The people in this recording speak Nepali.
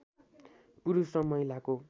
पुरुष र महिलाको